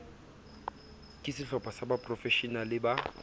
ke sehlopha sa baprofeshenale ba